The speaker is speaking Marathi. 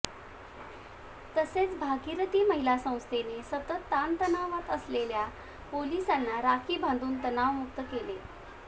तसेच भागीरथी महिला संस्थेने सतत ताणतणावात असलेल्या पोलीसांना राखी बांधून तणावमुक्त केले